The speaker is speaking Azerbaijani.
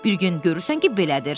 Bir gün görürsən ki, belədir.